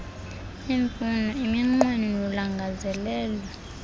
iimfuno iminqweno nolangazelelo